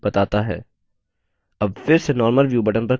अब फिर से normal view button पर click करते हैं